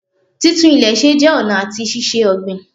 Títún ilè se jẹ́ ọ̀nà àti ṣíṣe ọ̀gbìn